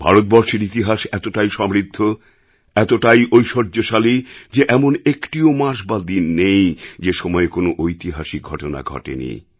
ভারতবর্ষের ইতিহাস এতটাই সমৃদ্ধ এতটাই ঐশ্বর্যশালী যে এমন একটিও মাস বা দিন নেই যে সময়ে কোনও ঐতিহাসিক ঘটনা ঘটেনি